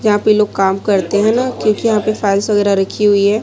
यहां पे लोग काम करते हैं ना क्योंकि यहां पे फाइल्स वगैरह रखी हुई है।